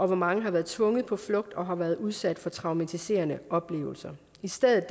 mange har været tvunget på flugt og har været udsat for traumatiserende oplevelser i stedet